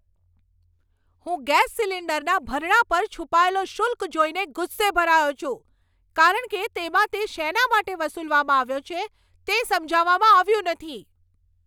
હું ગેસ સિલિન્ડરના ભરણા પર છુપાયેલો શુલ્ક જોઈને ગુસ્સે ભરાયો છું, કારણ કે તેમાં તે શેના માટે વસૂલવામાં આવ્યો છે તે સમજાવવામાં આવ્યું નથી.